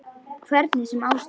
Hvernig sem á stóð.